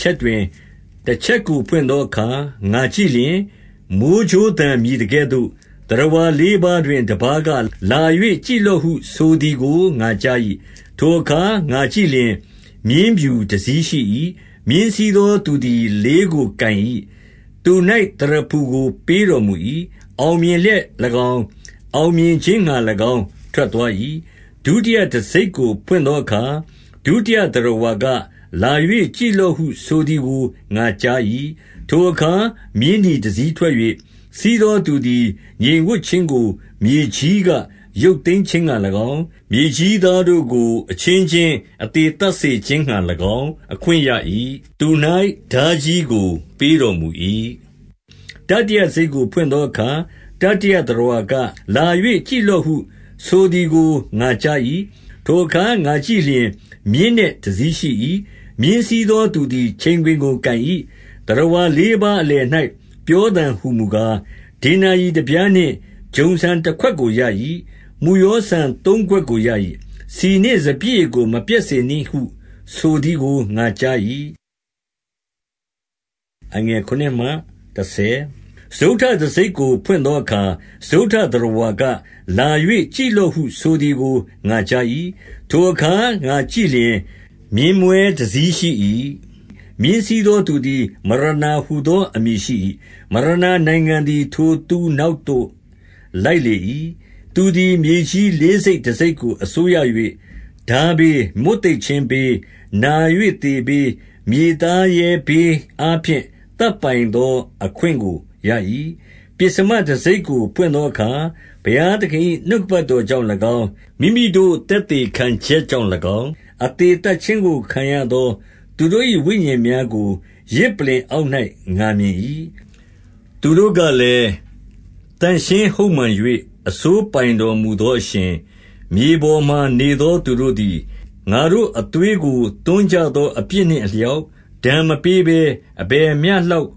ချက်တွင် တချက်ကိုဖွင့်သောအခါ ငါကြည့်လျှင်၊ မိုဃ်းကြိုးသံ မြည်သကဲ့သို့၊ သတ္တဝါလေးပါးတွင် တပါးက၊ လာ၍ ကြည့်လော့ဟု ဆိုသည်ကို ငါကြား၏။ 2 ထိုအခါငါကြည့်လျှင်၊ မြင်းဖြူတစီးရှိ၏။ မြင်းစီးသောသူသည် လေးကိုကိုင်၏။ သူ၌သရဖူကို ပေးတော်မူ၏။ အောင်မြင်လျက်၎င်း၊ အောင်မြင်ခြင်းငှါ၎င်း ထွက်သွား၏။ 3 ဒုတိယတံဆိပ်ကိုဖွင့်သောအခါ၊ ဒုတိယ သတ္တဝါ က၊ လာ၍ကြည့်လော့ဟုဆိုသည်ကို ငါကြား၏။ 4 ထိုအခါမြင်းနီတစီးထွက်၍၊ စီးသောသူသည် ငြိမ်ဝပ်ခြင်းကို မြေကြီးကရုပ်သိမ်းခြင်းငှါ၎င်း၊ မြေကြီး သားတို့ကို အချင်းချင်းအသေသတ်စေခြင်းငှါ၎င်း အခွင့်ရ၏။ သူ၌ထားကြီးကိုပေးတော်မူ၏။ 5 တတိယတံဆိပ်ကိုဖွင့်သောအခါ၊ တတိယ သတ္တဝါက၊ လာ၍ကြည့်လော့ဟု ဆိုသည်ကို ငါကြား၏။ ထိုအခါ ငါကြည့်လျှင် မြင်းနက်တစီးရှိ၏။ မြင်းစီးသောသူသည် ချိန်ခွင်ကိုကိုင်၏။ 6 သတ္တဝါလေးပါးအလယ်၌ ပြောသံဟူမူကား၊ ဒေနာရိတပြားနှင့် ဂျုံဆန်တခွက်ကိုရ၏။ မုယောဆန် သုံးခွက်ကိုရ၏။ ဆီနှင့်စပျစ်ရည်ကို မပျက်စေနှင့် ဟုဆိုသည်ကိုငါကြား၏။ 7 စတုတ္ထတံဆိပ်ကိုဖွင့်သောအခါ၊ စတုတ္ထ သတ္တဝါက၊ လာ၍ ကြည့်လော့ဟုဆိုသည်ကို ငါကြား၏။ 8 ထိုအခါငါကြည့်လျှင်၊ မြင်းမွဲတစီးရှိ၏။ မြင်းစီးသောသူသည် မရဏာဟူသောအမည်ရှိ၏။ မရဏာ နိုင်ငံသည် ထိုသူနောက်သို့ လိုက်လေ၏။ သူသည် မြေကြီး လေးစိတ်တစိတ်ကို အစိုးရ၍ ထားဘေး၊ မွတ်သိပ်ခြင်းဘေး၊ နာ၍သေဘေး၊ မြေသားရဲဘေးအားဖြင့် သတ်ပိုင် သော အခွင့်ကိုရ၏။ 9 ပဥ္စမတံဆိပ်ကိုဖွင့်သောအခါ၊ ဘုရားသခင်၏ နှုတ်ကပတ်တော်ကြောင့်၎င်း၊ မိမိတို့ သက်သေခံ ချက်ကြောင့်၎င်း၊ အသေသတ်ခြင်းကိုခံရသောသူတို့၏ ဝိညာဉ်များကို ယဇ်ပလ္လင်အောက်၌ ငါမြင်၏။ 10 သူတို့ကလည်း၊ သန့်ရှင်းဟုတ်မှန်၍ အစိုးပိုင်တော်မူသောအရှင်၊ မြေပေါ်မှာနေသော သူတို့သည် ငါတို့အသွေးကို သွန်းကြသော အပြစ်နှင့်အလျောက် ဒဏ်မပေးဘဲ အဘယ်မျှလောက်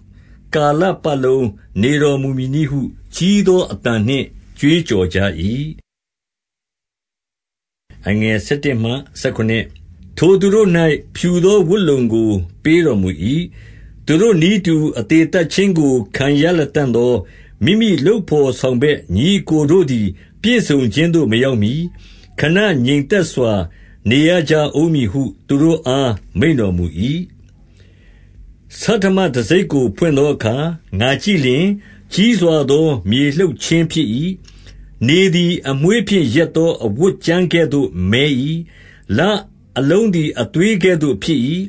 ကာလပတ်လုံး နေ တော်မူ မည်နည်းဟုကြီးမားသော အသံနှင့် ကြွေးကြော်ကြ၏။ 11 ထိုသူတို့၌ဖြူသောဝတ်လုံကို ပေးတော်မူ၏။ သူတို့နည်းတူ အသေသတ်ခြင်းကိုခံရလတံ့သော မိမိ လုပ်ဘော်ဆောင်ဘက်ညီအစ်ကိုတို့သည် ပြည့်စုံခြင်းသို့မရောက်မှီ၊ ခဏငြိမ်သက်စွာ နေရကြဦးမည်ဟု သူတို့အားမိန့်တော်မူ၏။ 12 ဆဋ္ဌမတံဆိပ်ကိုဖွင့်သောအခါ ငါကြည့်လျှင် ကြီးစွာသော မြေလှုပ်ခြင်းဖြစ်၏။ နေသည်အမွေးဖြင့် ရက်သောအဝတ်ကြမ်းကဲ့သို့ မည်း၏။ လအလုံးသည် အသွေးကဲ့သို့ဖြစ်၏။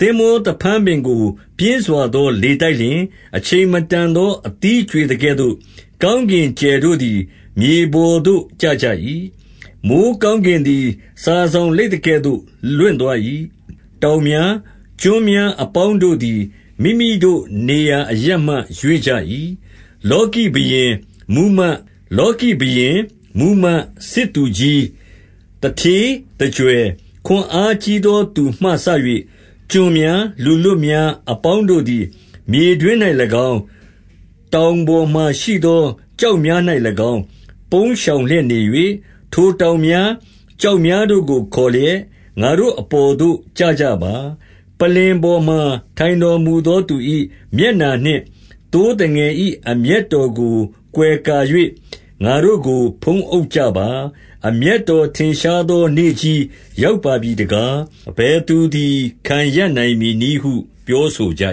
13 သင်္ဘောသဖန်းပင်ကို ပြင်းစွာသော လေတိုက်လျှင်၊ အချိန်မတန်သော အသီးကြွေသကဲ့သို့၊ ကောင်းကင်ကြယ်တို့သည် မြေပေါ်သို့ ကျကြ၏။ 14 မိုဃ်းကောင်းကင်သည် စာစောင်လိပ်သကဲ့သို့ လွင့်သွား၏။ တောင်များ၊ ကျွန်းများအပေါင်းတို့သည် မိမိတို့နေရာအရပ်မှ ရွေ့ကြ၏။ 15 လောကီဘုရင်၊ မှူးမတ်၊ စစ်သူကြီး၊ သူဌေး၊ သူကြွယ်၊ ခွန်အားကြီးသောသူမှစ၍ ကျွန်များ၊ လူလွတ် များအပေါင်းတို့သည် မြေတွင်း၌၎င်း၊ တောင်ပေါ်မှာ ရှိသော ကျောက်များ၌၎င်း၊ ပုန်းရှောင်လျက်နေ၍၊ ထိုတောင်များ၊ ကျောက်များတို့ကို ခေါ်လျက်၊ 16 ငါတို့အပေါ်သို့ကျကြပါ။ ပလ္လင်ပေါ်မှာ ထိုင်တော်မူသောသူ၏ မျက်နှာနှင့် သိုးသငယ်၏ အမျက်တော်ကို ကွယ်ကာ၍၊ ငါတို့ကိုဖုံးအုပ်ကြပါ။ 17 အမျက်တော် ထင်ရှားသောနေ့ကြီး ရောက်ပါပြီ တကား။ အဘယ်သူသည် ခံရပ်နိုင်မည်နည်းဟု ပြောဆိုကြ